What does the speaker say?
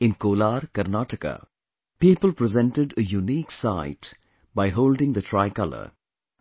In Kolar, Karnataka, people presented a unique sight by holding the tricolor